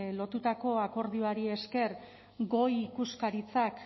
lortutako akordioari esker goi ikuskaritzak